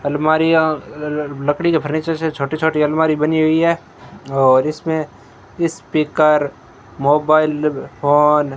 अलमारीयां लकड़ी के फर्नीचर्स हैं छोटे छोटे अलमारी बनी हुई है और इसमें स्पीकर मोबाइल फोन --